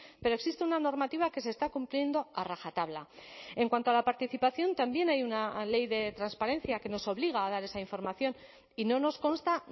pero existe una normativa que se está cumpliendo a rajatabla en cuanto a la participación también hay una ley de transparencia que nos obliga a dar esa información y no nos consta